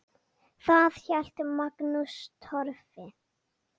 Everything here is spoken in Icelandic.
Þar hélt Magnús Torfi